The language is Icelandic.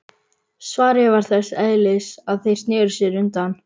Svarið var þess eðlis að þeir sneru sér undan.